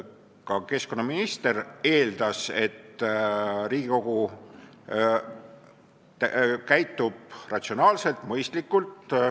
Ka keskkonnaminister eeldas, et Riigikogu käitub ratsionaalselt ja mõistlikult.